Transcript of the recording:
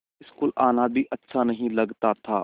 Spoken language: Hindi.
स्कूल आना भी अच्छा नहीं लगता था